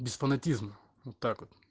без фанатизма вот так вот